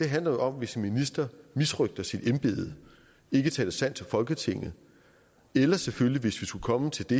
handler jo om hvis en minister misrøgter sit embede ikke taler sandt til folketinget eller selvfølgelig hvis vi skulle komme til det